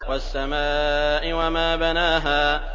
وَالسَّمَاءِ وَمَا بَنَاهَا